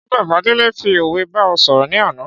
Ṣé bàbá Délé fi òwe bá ẹ sọ̀rọ̀ ní àná